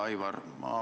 Hea Aivar!